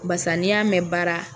Barisa n'i y'a mɛn baara